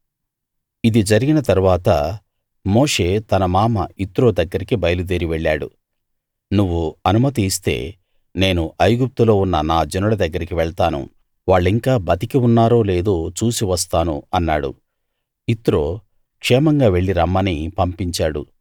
ఇది జరిగిన తరువాత మోషే తన మామ యిత్రో దగ్గరికి బయలుదేరి వెళ్ళాడు నువ్వు అనుమతి ఇస్తే నేను ఐగుప్తులో ఉన్న నా జనుల దగ్గరికి వెళ్తాను వాళ్ళింకా బతికి ఉన్నారో లేదో చూసి వస్తాను అన్నాడు యిత్రో క్షేమంగా వెళ్ళి రమ్మని పంపించాడు